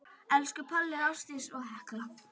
Elsku Palli, Ásdís og Hekla.